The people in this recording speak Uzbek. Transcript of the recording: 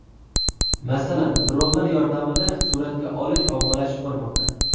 Masalan, dronlar yordamida suratga olish ommalashib bormoqda.